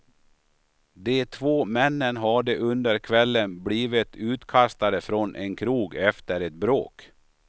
De två männen hade under kvällen blivit utkastade från en krog efter ett bråk.